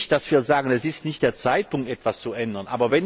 Nicht, dass wir sagen, es ist nicht der Zeitpunkt, etwas zu ändern.